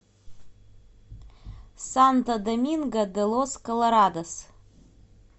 санто доминго де лос колорадос